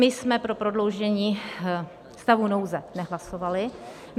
My jsme pro prodloužení stavu nouze nehlasovali.